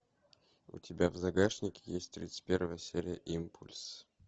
у тебя в загашнике есть тридцать первая серия импульс